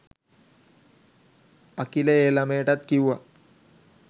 අකිල ඒ ළමයටත් කිව්වා